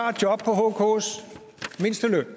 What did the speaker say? hks mindsteløn